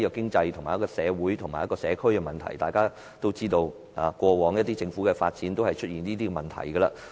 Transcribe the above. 發展涉及經濟、社會及社區的問題，大家也知道，過往政府的發展均出現這些問題。